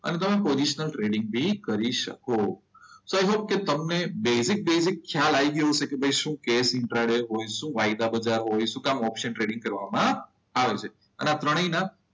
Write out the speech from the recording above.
અને તમે positional trading કરી શકો. સો આઈ હોપ કે તમને બેઝિક બેઝિક ખ્યાલ આવી ગયો હશે. કે શું છે ઇન્ટ્રા ડે શું વાયદા બધા હોય શું કરવા ઓપ્શન ટ્રેડિંગ કરવામાં આવે છે? હવે આ ત્રણેયના